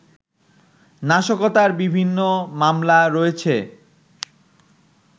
নাশকতার বিভিন্ন মামলা রয়েছে